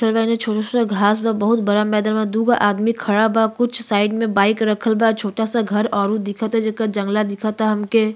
बानी। छोटा-छोटा घास बा। बहुत बड़ा मैदान बा। दुगो आदमी खड़ा बा। कुछ साइड में बाइक रखल बा। छोटा सा घर औरु दिखता जेकर जंगला दिखता हमके।